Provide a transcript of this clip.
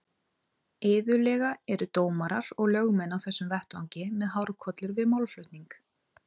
Iðulega eru dómarar og lögmenn á þessum vettvangi með hárkollur við málflutning.